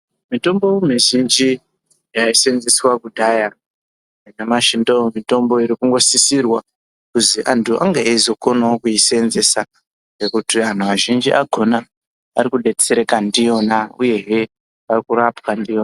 Mitombo mizhinji yaisenzeswa kudhaya, nanyamashi ndo mitombo iri kungo sisirwa kuzi antu angevo eizokonavo kutisenzesa. Ngekuti antu azhinji akona ari kubetsereka ndiyona, uyehe varikurapwa ndiyona.